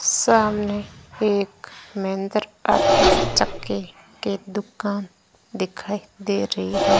सामने एक महेंद्र पाठक चक्की के दुकान दिखाई दे रही है।